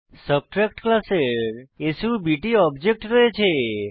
subtract ক্লাসের সাব্ট object রয়েছে